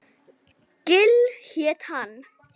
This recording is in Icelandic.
Gil hét hann.